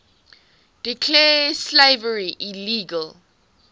declared slavery illegal